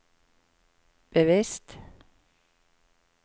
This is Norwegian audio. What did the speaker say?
bevisst